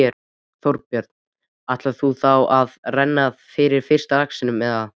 Þorbjörn: Ætlar þú þá að renna fyrir fyrsta laxinum, eða?